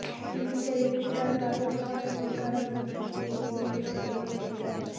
ভুল বিচারের শিকার বাদল ফরাজীর কারামুক্তি চেয়ে রিটের শুনানি মঙ্গলবার